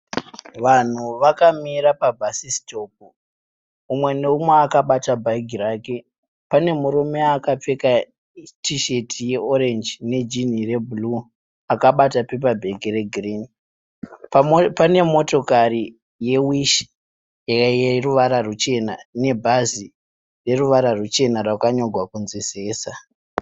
Vanhu vakamira pa bhasisitopu umwe neumwe akabata bhegi rake. Pane murume akapfeka tisheti ye orenji nejinhi re bhuruu akabata pepabhegi re girini. Pane motokari yeWish yeruwara ruchena nebhazi reruwara ruchena rakanyorwa kunzi "ZESA" .